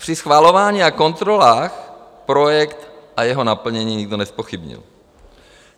Při schvalování a kontrolách projekt a jeho naplnění nikdo nezpochybnil.